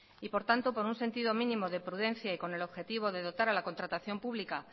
y por tanto por un sentido mínimo de prudencia y con el objetivo de dotar a la contratación pública